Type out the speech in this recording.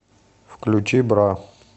включи бра